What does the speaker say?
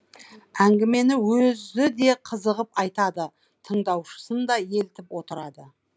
әңгімені өзі де қызығып айтады тыңдаушысын да елітіп отырады